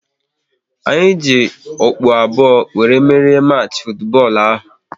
Anyị ji okpu abụọ wéré merie machi futubọọlu ahụ